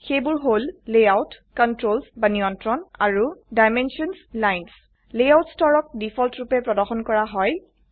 সেইবোৰ হল layout controls বা নিয়ন্ত্ৰণ আৰু ডাইমেনশ্যনছ লাইন্স লেয়াউট স্তৰক দিফল্ট ৰুপে প্ৰৰ্দশন কৰা হয়